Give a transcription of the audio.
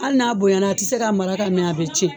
Hali n'a bonya na a tɛ se ka mara ka mɛn a bɛ cɛn.